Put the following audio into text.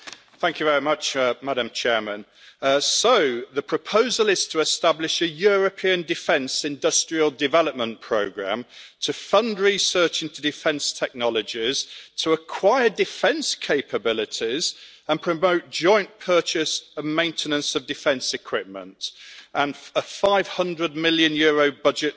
Madam President, so, the proposal is to establish a European Defence Industrial Development Programme to fund research into defence technologies, to acquire defence capabilities and promote joint purchase and maintenance of defence equipment, with a EUR 500 million budget for the programme.